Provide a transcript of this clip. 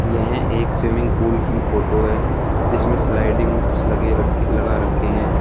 यह एक swimming pool की फोटो है जिसमें स्लाइडिंग लगे रखे लगा रखे हैं।